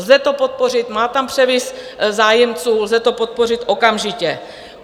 Lze to podpořit, má tam převis zájemců, lze to podpořit okamžitě.